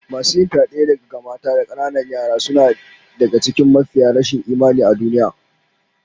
Masu yin fyade ga mata da kananan yara suna daga cikin mafiya rashin imani a duniya